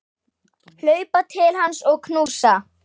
Hlaupa til hans og knúsa.